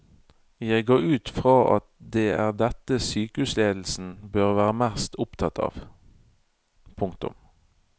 Jeg går ut fra at det er dette sykehusledelsen bør være mest opptatt av. punktum